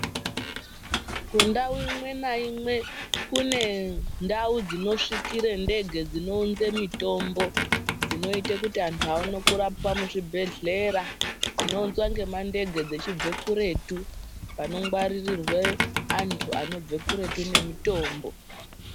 Kundau imwenaimwe kune ndau dzinosvikire ndege dzinounze mitombo dzinoite kuti antu aone kurapiwa muzvibhedhlera. Zvinounzwa nemandege dzechibve kuretu, panongwaririrwe antu anobve kuretu nemitombo.